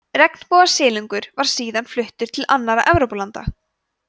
regnbogasilungur var síðan fluttur til annarra evrópulanda